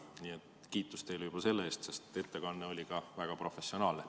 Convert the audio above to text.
Nii et kiitus teile selle eest, sest ettekanne oli ka väga professionaalne.